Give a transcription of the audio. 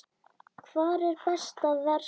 Hvar er best að versla?